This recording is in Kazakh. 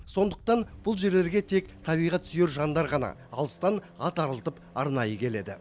сондықтан бұл жерлерге тек табиғат сүйер жандар ғана алыстан ат арылтып арнайы келеді